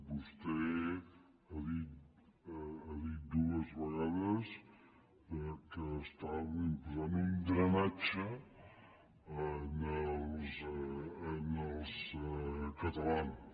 vostè ha dit dues vegades que estava imposant un drenatge als catalans